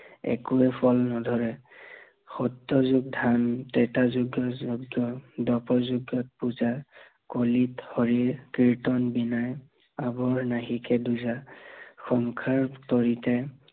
একোৱে ফল নধৰে সত্য় যুগৰ ধ্যান ত্ৰেতা যুগত যজ্ঞ, দপ যুগত পূজা, কলিত হৰিৰ কীৰ্তন বীণা, অবৰ নাহিকে দূজা, সংসাৰ তৰিতে